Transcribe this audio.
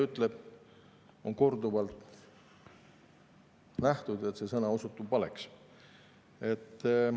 Kui on korduvalt nähtud, et see sõna, mida ta ütleb, osutub valeks?